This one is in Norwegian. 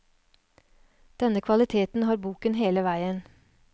Denne kvaliteten har boken hele veien.